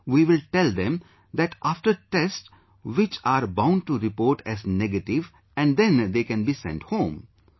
Then we will tell them that after tests which are bound to report as negative and then they can be send home